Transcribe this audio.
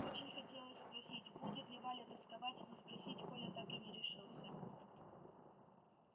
очень хотелось спросить будет ли валя тосковать но спросить коля так и не решился